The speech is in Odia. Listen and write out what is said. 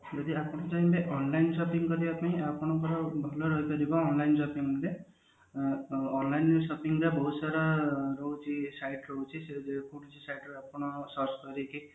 ଯଦି ଆପଣ ଚାହିଁବେ online shopping କରିବା ପାଇଁ ଆପଣଙ୍କର ଭଲ ରହିପାରିବ online shopping ରେ ଆଁ online shopping ରେ ବହୁତ ସାରା ରହୁଛି site ରହୁଛି ସେ ଯେ କୌଣସି site ରେ ଆପଣ search କରିକି